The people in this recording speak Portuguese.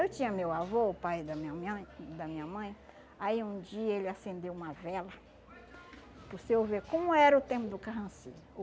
Eu tinha meu avô, o pai da minha meãe da minha mãe, aí um dia ele acendeu uma vela, para o senhor ver como era o tempo do carrancismo